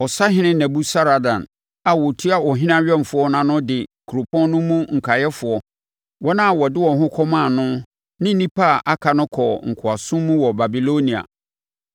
Ɔsahene Nebusaradan a ɔtua ɔhene awɛmfoɔ ano no de kuropɔn no mu nkaeɛfoɔ, wɔn a wɔde wɔn ho kɔmaa no ne nnipa a aka no kɔɔ nkoasom mu wɔ Babilonia.